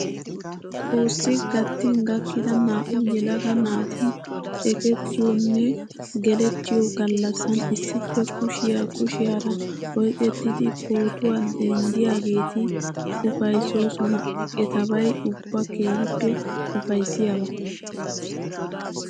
Xoossi gattin gakkida naa''u yelaga naati ekettuyoonne gelettiyoo gallassan issippe kushiyaa kushiyaara oyiqettidi pootuwaa denddiyaageeti upayissosona. Etabayi ubba keehippe upayissiyaaba.